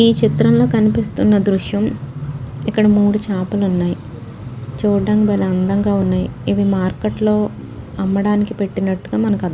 ఈచిత్రంలో కనిపిస్తున్న దృశ్యం ఇక్కడ మూడు చాపలు ఉన్నాయి చుడానికి భలే అందంగా ఉన్నాయిఇవి మార్కెట్ లో అమ్మడానికి పెట్టినట్టుగా మనకు అర్థమవుతుంది.